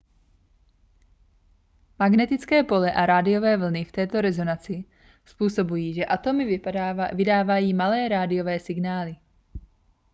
magnetické pole a rádiové vlny v této rezonanci způsobují že atomy vydávají malé rádiové signály